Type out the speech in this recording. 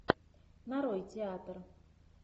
нарой театр